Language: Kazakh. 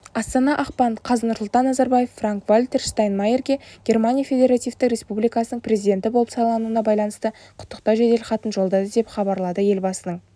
астана ақпан қаз нұрсұлтан назарбаев франк-вальтер штайнмайерге германия федеративтік республикасының президенті болып сайлануына байланысты құттықтау жеделхатын жолдады деп хабаролады елбасының